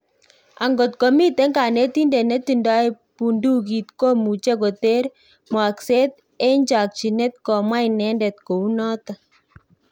Agot komiten kanetindet nitondoi bundukiit komuche koter mwokset en chakchinet' komwa inendet kounoton